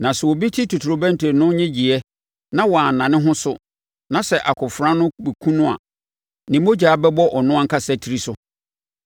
Na sɛ obi te totorobɛnto no nnyegyeeɛ na wanna ne ho so, na sɛ akofena no bɛkum no a, ne mogya bɛbɔ ɔno ankasa tiri so.